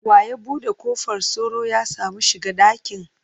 Wa ya bude kofar sauro ya samu shiga dakin?